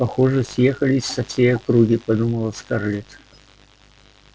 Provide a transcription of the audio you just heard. похоже съехались со всей округи подумала скарлетт